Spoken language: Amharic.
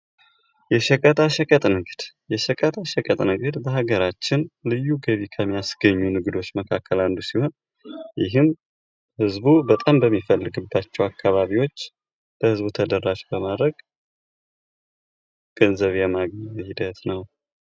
የሸቀጣ ሸቀጥ ንግድ:- የሸቀጣ ሸቀጥ ንግድ በሀገራችን ልዩ ገቢ ከሚያስገኙ ንግዶች መካከል አንዱ ሲሆን ይህም ህዝቡ በጣም በሚፈልግባቸዉ አካባቢዎች ለህዝቡ ተደራሽ በማድረግ ገንዘብ የማግኛ ሂደት ነዉ።